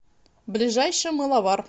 ближайший мыловар